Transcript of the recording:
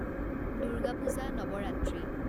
Durga Puja Navratri